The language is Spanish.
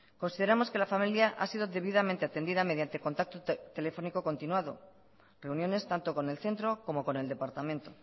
consideramos que la familia ha sido debidamente atendida mediante contacto telefónico continuado reuniones tanto con el centro como con el departamento